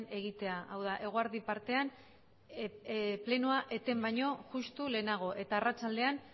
egitea hau da eguerdi partean plenoa eten baino justu lehenago eta arratsaldean